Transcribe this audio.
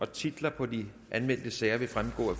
titler på de anmeldte sager vil fremgå af